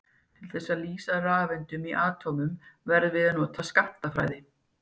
Til þess að lýsa rafeindum í atómum verðum við að nota skammtafræði.